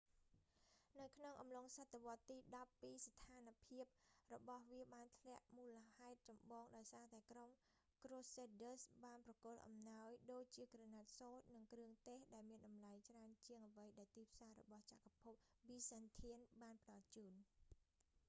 នៅក្នុងកំឡុងសតវត្សរ៍ទីដប់ពីរស្ថានភាពរបស់វាបានធ្លាក់មូលហេតុចម្បងដោយសារតែក្រុមក្រូសេដឌើស៍ crusaders បានប្រគល់អំណោយដូចជាក្រណាត់សូត្រ និងគ្រឿងទេស ដែលមានតម្លៃច្រើនជាងអ្វីដែលទីផ្សាររបស់ចក្រភពប៊ីសាន់ធាន byzantine បានផ្តល់ជូន